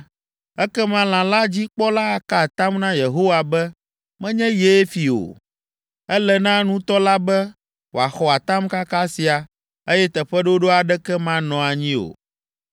ekema lã la dzi kpɔla aka atam na Yehowa be menye yee fii o. Ele na nutɔ la be wòaxɔ atamkaka sia, eye teƒeɖoɖo aɖeke manɔ anyi o.